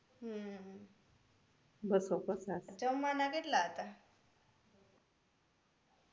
હમ જમવા ના કેટલા હતા